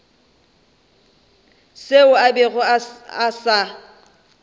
seo a bego a sa